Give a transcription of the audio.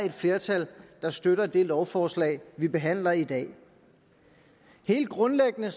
et flertal der støtter det lovforslag vi behandler i dag helt grundlæggende